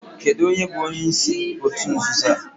Kedu onye bu onyeisi otu nzuzo a?